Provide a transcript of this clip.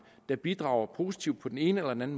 der bidrager positivt på den ene eller den